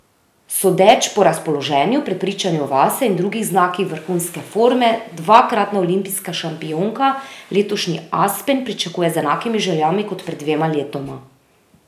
Sodeč po razpoloženju, prepričanju vase in drugih znakih vrhunske forme dvakratna olimpijska šampionka letošnji Aspen pričakuje z enakimi željami kot pred dvema letoma.